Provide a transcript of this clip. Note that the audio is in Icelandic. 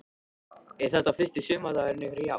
Hrund: Er þetta fyrsti sumardagurinn ykkar í ár?